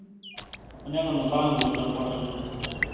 पण एखांदा बाण घुसला पोटात बीटात तर